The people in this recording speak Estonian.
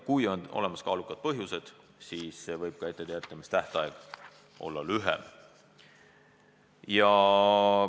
Kui on olemas kaalukad põhjused, siis võib ka etteteatamistähtaeg olla lühem.